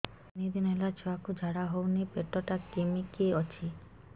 ତିନି ଦିନ ହେଲା ଛୁଆକୁ ଝାଡ଼ା ହଉନି ପେଟ ଟା କିମି କି ଅଛି